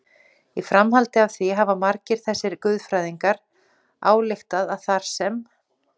Í framhaldi af því hafa margir þessara guðfræðinga ályktað að þar sem